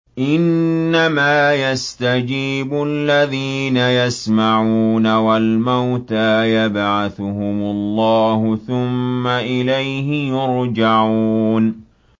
۞ إِنَّمَا يَسْتَجِيبُ الَّذِينَ يَسْمَعُونَ ۘ وَالْمَوْتَىٰ يَبْعَثُهُمُ اللَّهُ ثُمَّ إِلَيْهِ يُرْجَعُونَ